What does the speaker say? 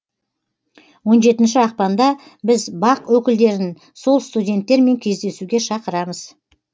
он жетінші ақпанда біз бақ өкілдерін сол студенттермен кездесуге шақырамыз